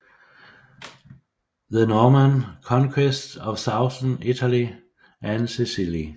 The Norman Conquest of Southern Italy and Sicily